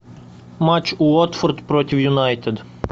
матч уотфорд против юнайтед